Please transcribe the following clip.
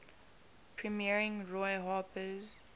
premiering roy harper's